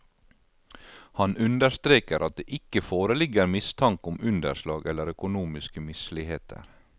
Han understreker at det ikke foreligger mistanke om underslag eller økonomiske misligheter.